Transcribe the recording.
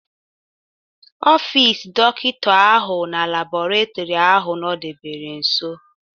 Ọfis dọkịta ahụ na labọretọri ahụ nọdebere nso.